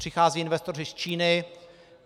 Přichází investoři z Číny.